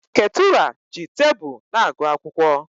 Ketura ji tebụl na-agụ akwụkwọ.